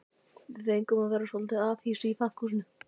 Við fengum að vera í svolitlu afhýsi í pakkhúsinu.